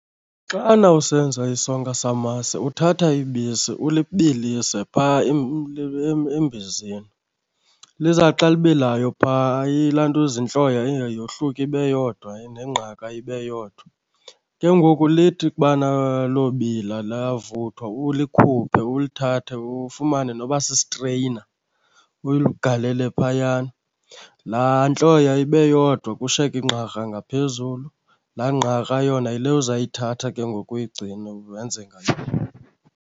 Xana usenza isonka samasi uthatha ibisi ulibilise phaa embizeni. Lizawuthi xa libilayo phaa ilantuza, intloya iye yohluke ibe yodwa nengqaka ibe yodwa. Ke ngoku lithi ukubana lobila lavuthwa, ulikhuphe ulithathe ufumane noba sistreyina ulugalele phayana. Laa ntloya ibe yodwa kushiyeke ingqakra ngaphezulu. Laa ngqakra yona yile uzayithatha ke ngoku uyigcine wenze ngayo.